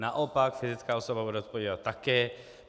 Naopak, fyzická osoba bude zodpovídat také.